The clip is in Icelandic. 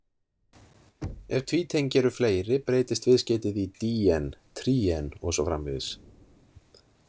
Ef tvítengi eru fleiri, breytist viðskeytið í-díen,-tríen, og svo framvegis.